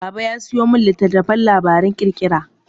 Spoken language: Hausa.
Baba ya sayo min littattafan labaran ƙirƙira.